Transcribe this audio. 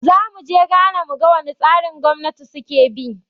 Zamu je Ghana mu ga wane tsarin gwamnati suke bi